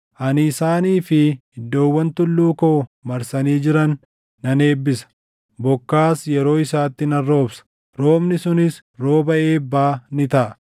Ani isaanii fi iddoowwan tulluu koo marsanii jiran nan eebbisa. Bokkaas yeroo isaatti nan roobsa; roobni sunis rooba eebbaa ni taʼa.